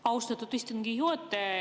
Austatud istungi juhataja!